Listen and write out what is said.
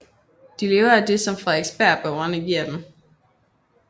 De lever af det som Frederiksberg borgerne giver dem